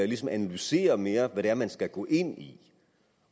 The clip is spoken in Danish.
ligesom analyserer mere hvad det er man skal gå ind i